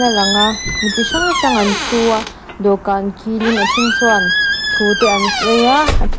a lang a mi chi hrang hrang an thu a dawhkan kilin a then chuan thu te an sawi a a ṭhen --